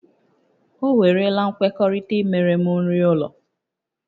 O werela nkwekọrịta imere m nri ụlọ